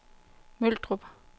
Møldrup